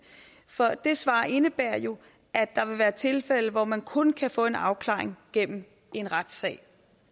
for det svar indebærer jo at der vil være tilfælde hvor man kun kan få en afklaring gennem en retssag